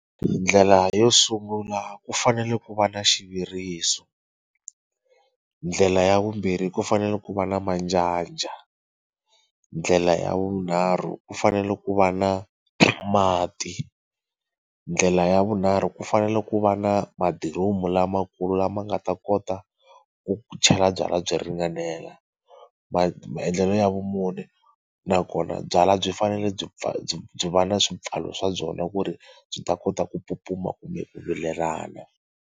Ndlela yo sungula ku fanele ku va na xivuriso ndlela ya vumbirhi ku fanele ku va na manjanja ndlela ya vunharhu ku fanele ku va na mati ndlela ya vunharhu ku fanele ku va na madiromu lamakulu lama nga ta kota ku chela byalwa byi ringanela maendlelo ya vumune nakona byalwa byi fanele byi byi va na swipfalo swa byona ku ri byi ta kota ku pupuma kumbe ku vilelana.